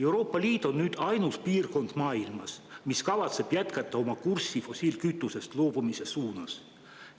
Euroopa Liit on nüüd ainus piirkond maailmas, mis kavatseb jätkata fossiilkütusest loobumise kursil.